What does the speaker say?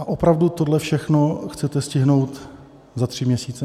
A opravdu tohle všechno chcete stihnout za tři měsíce?